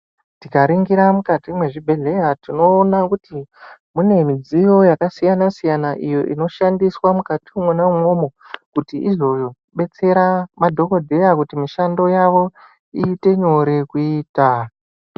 Tikaringira mukati mwezvibhedhleya tinoona kuti mune midziyo yakasiyana siyana iyo inoshandiswa mukati mwona umwomwo kuti izodetsera madhokodheya kuti mushando yawo iite nyore kuita.